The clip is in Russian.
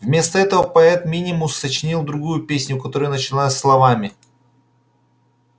вместо этого поэт минимус сочинил другую песню которая начиналась словами